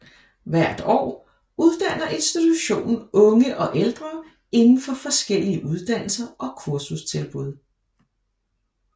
Hvert år uddanner institutionen unge og ældre indenfor forskellige uddannelser og kursustilbud